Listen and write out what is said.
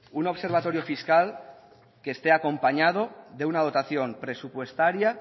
un observatorio fiscal que esté acompañado de una dotación presupuestaria